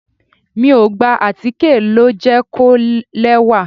Mi ò gbà, àtíkè ló jẹ́ kó lẹ́wà.